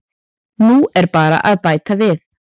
Nú er bara að bæta við.